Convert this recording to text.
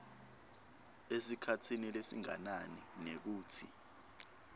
esikhatsini lesinganani nekutsi